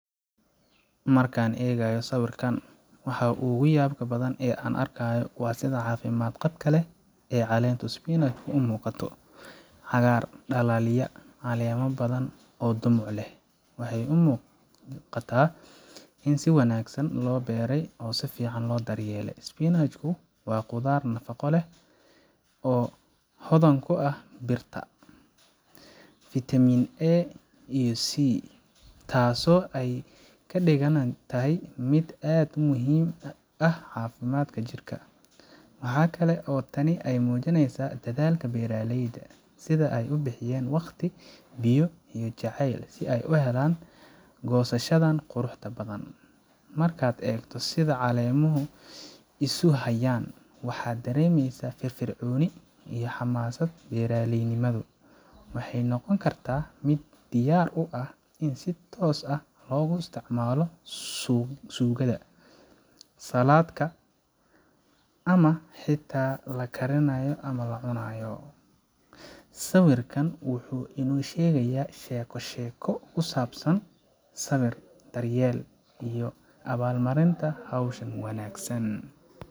Marka aan eegayo sawirkan, waxa ugu yaabka badan ee aan arkayo waa sida caafimaad qabka leh ee caleenta spinach ku u muuqato. Cagaar dhalaalaya, caleemo ballaadhan oo dhumuc leh waxay muujinayaan in si wanaagsan loo beeray oo si fiican loo daryeelay. Spinach ku waa khudrad nafaqo badan leh, oo hodan ku ah birta, vitaminA iyo vitaminC, taasoo ka dhigana tahay mid aad u muhiim u ah caafimaadka jirka. Waxa kale oo ay tani muujinaysaa dadaalka beeraleyda sida ay u bixiyeen waqti, biyo, iyo jacayl si ay u helaan goosashadan quruxda badan. Markaad eegto sida caleemuhu isu hayaan, waxaad dareemaysaa firfircooni iyo xamaasad beeraleynimo. Waxay noqon kartaa mid diyaar u ah in si toos ah loogu isticmaalo suugada, salad ka, ama xitaa la kariyo oo la cunno. Sawirkan wuxuu inoo sheegaya sheeko sheeko ku saabsan sabir, daryeel, iyo abaal marinta hawsha wanaagsan.